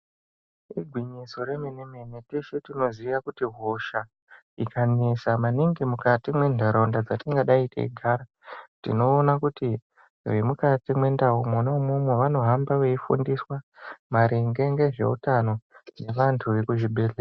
Igwinyiso remene-mene teshe tinoziya kuti hosha ikanesa maningi mukati mwentaraunda dzatingadayi teigara. Tinoona kuti vemukati mwendau mwina imwomwo vanohamba veifundiswa maringe ngezveutano ngevantu vekuzvibhehle...